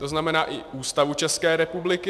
To znamená i Ústavu České republiky.